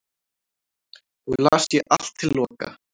og las ég allt til loka